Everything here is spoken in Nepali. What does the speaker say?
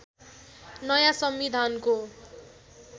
नयाँ संविधानको